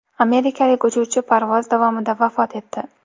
Amerikalik uchuvchi parvoz davomida vafot etdi.